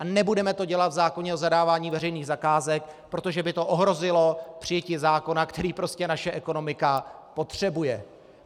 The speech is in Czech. A nebudeme to dělat v zákoně o zadávání veřejných zakázek, protože by to ohrozilo přijetí zákona, který prostě naše ekonomika potřebuje.